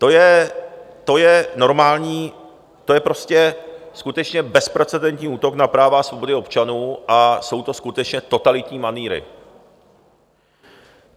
To je normální, to je prostě skutečně bezprecedentní útok na práva a svobody občanů a jsou to skutečně totalitní manýry.